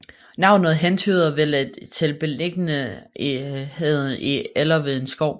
Navnet hentyder vel til beliggenheden i eller ved en skov